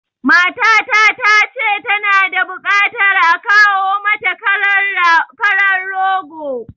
Matata ta ce tana da buƙatar a kawo mata karan rogo